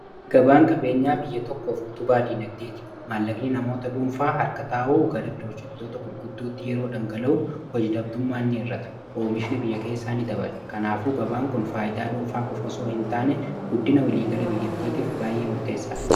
gabaan qabeenyaa biyya tokkoof utu baadii nagdeeti maallaqni namoota dhuunfaa harka taa'uu gara biroo shettoota kulgudduutti yeroo dhangala'u hoji-dhabdummaanni irrata oomishni biyya keessaanii dabadha kanaafuu gabaan kun faayidaa dhuunfaa qofasoo hin taane guddina waliigala biyyattiitiif baay'ee murteessaa dha